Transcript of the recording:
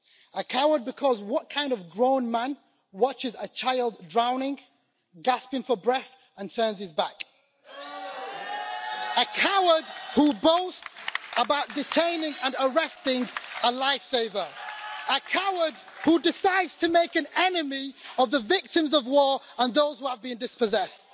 A coward because what kind of grown man watches a child drowning, gasping for breath and turns his back? A coward who boasts about detaining and arresting a lifesaver. A coward who decides to make an enemy of the victims of war and those who have been dispossessed.